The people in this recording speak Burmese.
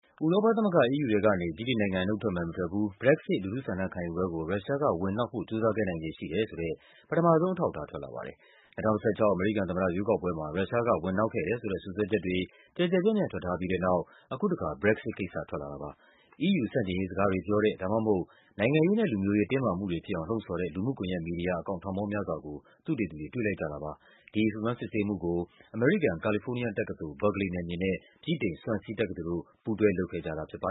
ဥရောပသမဂ္ဂ EU ထဲကနေ ဗြိတိန်နိုင်ငံ နုတ်ထွက်မယ် မထွက်ဘူး BREXIT လူထုဆန္ဒခံယူပွဲကို ရုရှားက ဝင်နှောက်ဖို့ ကြိုးစား ခဲ့နိုင်ခြေရှိတယ်ဆိုတဲ့ ပထမဆုံးအထောက်အထား ထွက်လာပါတယ်။ ၂၀၁၆ အမေရိကန်သမ္မတ ရွေးကောက်ပွဲမှာ ရုရှားက ဝင်နှောက်ခဲ့တယ်ဆိုတဲ့ စွပ်စွဲချက်တွေ ကျယ်ကျယ်ပြန့််ပြန့် ထွက်ထားပြီးတဲ့နောက် အခုတခါ Brexit ကိစ္စထွက်လာတာပါ။ EU ဆန့်ကျင်ရေးစကားတွေပြောတဲ့ ဒါမှမဟုတ် နိုင်ငံရေးနဲ့ လူမျိုးရေး တင်းမာမှုတွေဖြစ်အောင် လှုံ့ဆော်တဲ့ လူမှုကွန်ယက်မီဒီယာ အကောင့် ထောင်ပေါင်းများစွာကို သုတေသီတွေ တွေ့လိုက်ကြတာပါ။ ဒီစုံစမ်းစစ်ဆေးမှုကို အမေရိကန်၊ ကာလီဖိုးနီးယားတက္ကသိုလ် Berkely နယ်မြေနဲ့ ဗြိတိန် Swansea တက္ကသိုလ်တို့ ပူးတွဲလုပ်ခဲ့ ကြတာပါ